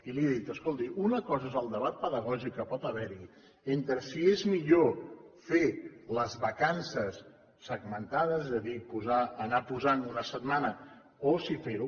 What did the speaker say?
i li he dit escolti una cosa és el debat pedagògic que pot haverhi entre si és millor fer les vacances segmentades és a dir anar posant una setmana o si ferho